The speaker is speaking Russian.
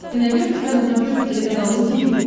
ты найдешь у себя на смотрешке телеканал ру ти ви